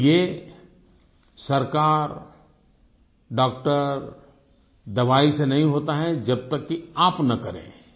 लेकिन ये सरकार डॉक्टर दवाई से नहीं होता है जब तक की आप न करें